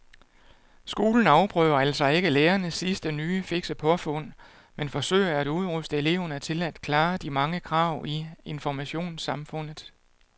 Skolen afprøver altså ikke lærernes sidste nye fikse påfund men forsøger at udruste eleverne til at klare de mange krav i informationssamfundet.